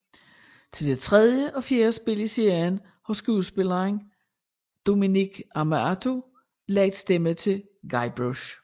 Til det tredje og fjerde spil i serien har skuespilleren Dominic Armato lagt stemme til Guybrush